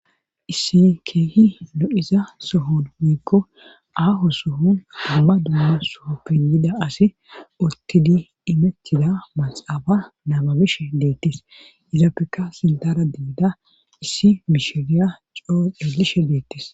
Issi keehi lo7iza sohon wiikko aaho sohun damma dumma soho penyida asi ottidi imettiza maxaafa namabishe deettis izaapeka sintara deeda issi misheriya coo eelishe deettis.